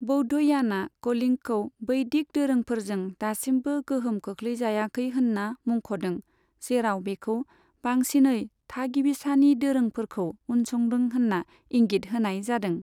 बौद्धयानआ कलिंगखौ बैदिक दोरोंफोरजों दासिमबो गोहोम खोख्लैजायाखै होन्ना मुंख'दों, जेराव बेखौ बांसिनै थागिबिसानि दोरोंफोरखौ उनसंदों होन्ना इंगित होनाय जादों।